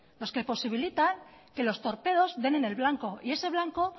los que posibilitan que los torpedos den en el blanco y ese blanco